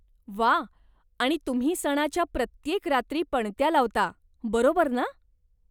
वा. आणि तुम्ही सणाच्या प्रत्येक रात्री पणत्या लावता, बरोबर ना?